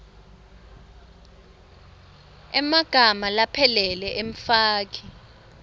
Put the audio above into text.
emagama laphelele emfaki